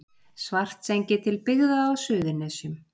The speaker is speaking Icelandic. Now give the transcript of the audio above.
Svartsengi til byggða á Suðurnesjum.